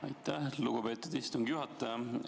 Aitäh, lugupeetud istungi juhataja!